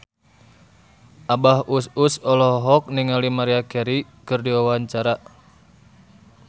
Abah Us Us olohok ningali Maria Carey keur diwawancara